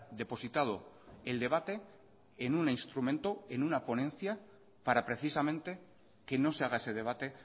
depositado el debate en un instrumento en una ponencia para precisamente que no se haga ese debate